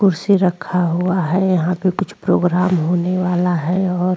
कुर्सी रखा हुआ है यहां पे कुछ प्रोग्राम होने वाला है और --